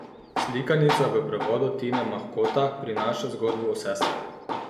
Slikanica v prevodu Tine Mahkota prinaša zgodbo o sestrah.